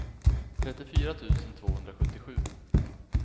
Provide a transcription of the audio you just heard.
trettiofyra tusen tvåhundrasjuttiosju